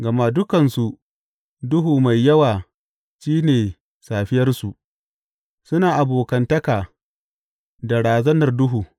Gama dukansu, duhu mai yawa shi ne safiyarsu; suna abokantaka da razanar duhu.